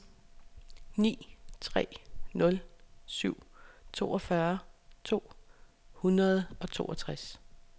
ni tre nul syv toogfyrre to hundrede og toogtres